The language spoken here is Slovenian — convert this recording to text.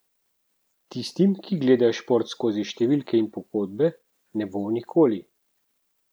Tistim, ki gledajo šport skozi številke in pogodbe, ne bo nikoli.